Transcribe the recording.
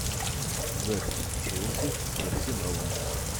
запись челси с арсеналом